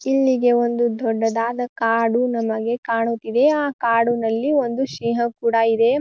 ಇಲ್ಲಿ ನಮಗೆ ದೊಡ್ಡದಾದ ಕಾಡು ನಮಗೆ ಕಾಣುತಿದೆ. ಆ ಕಾಡಿನಲ್ಲಿ ಒಂದು ಸಿಂಹ ಕೂಡ ಇದೆ.